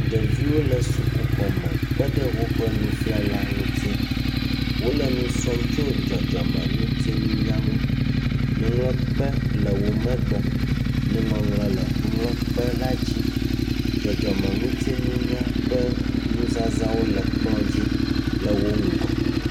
Ɖeviwo le sukuxɔ me kpeɖe woƒe nufiala ŋuti. Wole nu srɔ̃m tso dzɔdzɔmeŋutinunya ŋu. Nuŋlɔkpe le womegbe. Nuŋɔŋlɔ le nuŋlɔkpe la dzi. Dzɔdzɔmeŋutinunya ƒe nu zãzawo le kplɔ dzi le wo ŋgɔ